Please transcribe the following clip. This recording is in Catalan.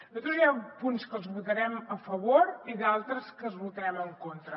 nosaltres hi ha punts que els votarem a favor i d’altres que els votarem en contra